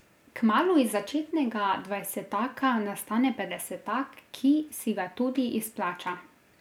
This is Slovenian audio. Kmalu iz začetnega dvajsetaka nastane petdesetak, ki si ga tudi izplača.